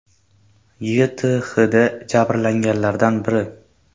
YTHda jabrlanganlardan biri.